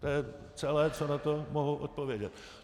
To je celé, co na to mohu odpovědět.